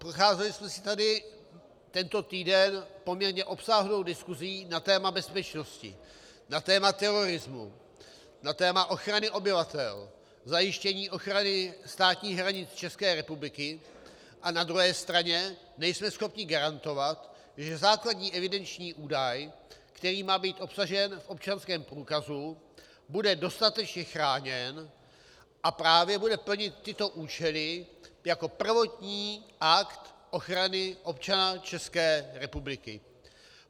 Procházeli jsme si tady tento týden poměrně obsáhlou diskusí na téma bezpečnosti, na téma terorismu, na téma ochrany obyvatel, zajištění ochrany státních hranic České republiky, a na druhé straně nejsme schopni garantovat, že základní evidenční údaj, který má být obsažen v občanském průkazu, bude dostatečně chráněn a právě bude plnit tyto účely jako prvotní akt ochrany občana České republiky.